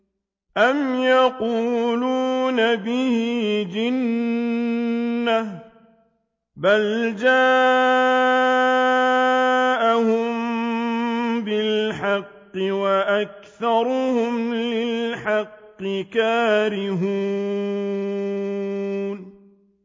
أَمْ يَقُولُونَ بِهِ جِنَّةٌ ۚ بَلْ جَاءَهُم بِالْحَقِّ وَأَكْثَرُهُمْ لِلْحَقِّ كَارِهُونَ